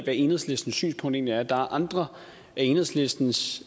enhedslistens synspunkt egentlig er der er andre af enhedslistens